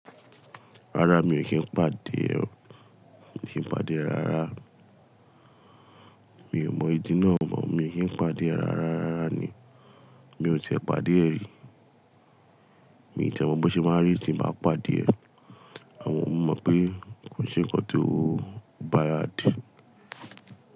Rárá mi ò kí n pàdé ẹ ó, mi ò kí n pàdé ẹ rara. Mi ò mọ ìdí náà mọ̀, mi ò kí n pàdé ẹ rara rárá ni. Mi ò ti ẹ pàdé ẹ rí. Mi n ti e mọ bó ṣe máa n rí tí n bá pàdé ẹ. Àwọn òún mo mọ pé kò se ǹkan ti ó bad.